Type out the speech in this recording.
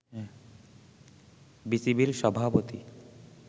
বিসিবির সভাপতি